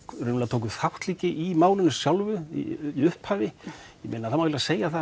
tóku þátt líka í málinu sjálfu í upphafi það má alveg segja það